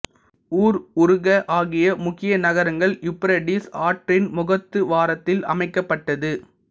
ஊர் உருக் ஆகிய முக்கிய நகரங்கள் யூப்ரடிஸ் ஆற்றின் முகத்துவாரத்தில் அமைக்கப்பட்டது